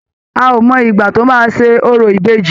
A ò mọ ìgbà tọ́ máa ṣe orò ìbejì.